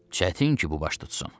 Çətin ki, bu baş tutsun.